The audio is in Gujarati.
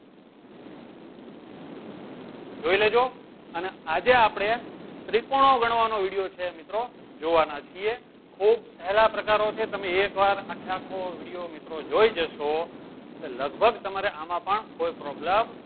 જોઈ લેજો અને આજે આપડે ત્રિકોણો ગણવાનો video છે. મિત્રો જોવાના છીએ. ખુબ સહેલા પ્રકારો છે. તમે એક વાર આખે આખો મિત્રો video મિત્રો જોઈ જસો એટલે લગભગ તમારે આમાં પણ કોઈ problem